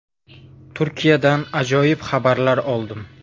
“Turkiyadan ajoyib xabarlar oldim!..